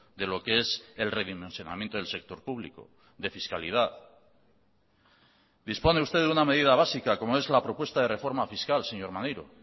de lo que es el redimensionamiento del sector público de fiscalidad dispone usted de una medida básica como es la propuesta de reforma fiscal señor maneiro